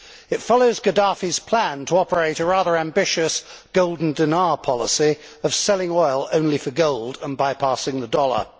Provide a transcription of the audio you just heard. It follows Gaddafi's plan to operate a rather ambitious golden dinar policy of selling oil only for gold and bypassing the dollar.